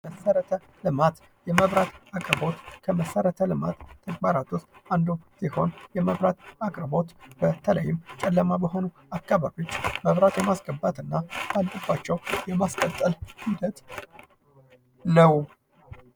መሰረተ ልማት የመብራት አቅርቦት የመሰረተ ልማት ተግባራት ዉስጥ አንዱ ሲሆን የመብራት አቅርቦት በተለይም ጨለማ በሆኑ አካባቢዎች መብራት የማስገባት እና ሲበላሽባቸው የማስቀጠል ሂደት ነው።